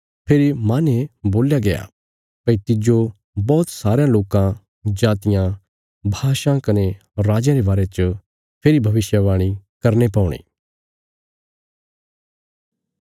फेरी माहने बोल्या गया भई तिज्जो बौहत सारयां लोकां जातियां भाषां कने राजयां रे बारे च फेरी भविष्यवाणी करने पौणी